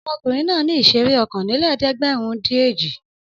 Ọmọkùnrin náà ní ìṣeré okòólélẹ́ẹ̀dẹ́gbẹ̀rúndínèjì.